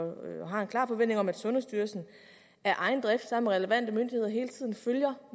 har en klar forventning om at sundhedsstyrelsen af egen drift sammen med relevante myndigheder hele tiden følger